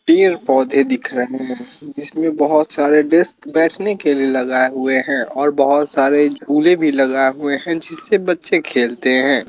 पेड़ पौधे दिख रहे हैं जिसमें बहोत सारे डेस्क बैठने के लिए लगाए हुए हैं और बहोत सारे झूले भी लगाए हुए हैं जिसे बच्चे खेलते हैं।